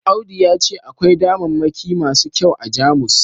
audu ya ce akwai damammaki masu kyau a Jamus